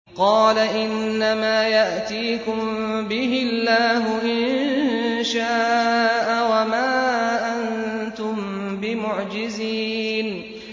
قَالَ إِنَّمَا يَأْتِيكُم بِهِ اللَّهُ إِن شَاءَ وَمَا أَنتُم بِمُعْجِزِينَ